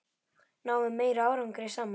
Náum við meiri árangri saman?